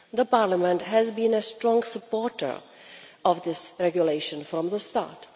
Parliament has been a strong supporter of this regulation from the start.